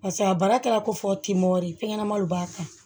Pase a baara kɛra ko fɔ k'i mɔdɛli fɛn ɲɛnamaw b'a kan